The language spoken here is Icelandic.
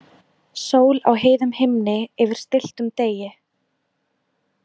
Sól á heiðum himni yfir stilltum degi.